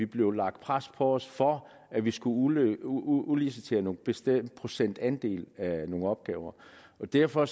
blev lagt pres på os for at vi skulle udlicitere en bestemt procentandel af nogle opgaver derfor